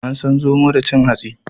An san zomo da cin hatsi.